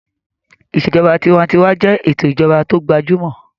Ìṣèjọba tinwatinwa jẹ́ ètò ìjọba tó gbajúmọ̀